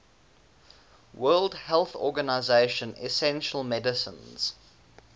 world health organization essential medicines